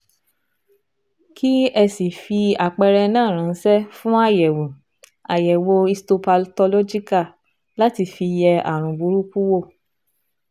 Kí ẹ sì fi àpẹẹrẹ náà ránṣẹ́ fún àyẹ̀wò àyẹ̀wò histopathological láti fi yẹ ààrùn burúkú wò